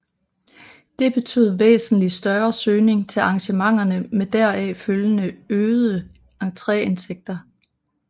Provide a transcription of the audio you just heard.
Det betød væsentlig større søgning til arrangementerne med deraf følgende øgede entréindtægter